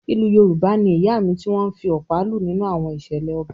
Ìlù Yorùbá ni “Ìyáàmì” tí wọ́n ń fi ọ̀pá lù nínú àwọn ìṣẹ̀lẹ̀ ọba.